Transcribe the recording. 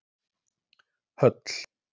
Höll